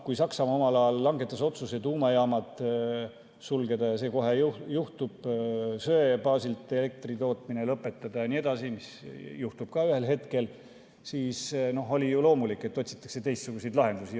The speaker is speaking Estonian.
Kui Saksamaa omal ajal langetas otsuse tuumajaamad sulgeda – ja see kohe juhtub –, söe baasil elektritootmine lõpetada jne, mis juhtub ka ühel hetkel, siis oli ju loomulik, et otsitakse teistsuguseid lahendusi.